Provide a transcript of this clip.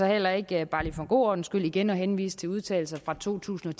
heller ikke bare lige for god ordens skyld igen at henvise til udtalelser fra to tusind og